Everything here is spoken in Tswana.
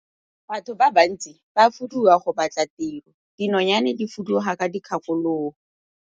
Batho ba bantsi ba fuduga go batla tiro, dinonyane di fuduga ka dikgakologo.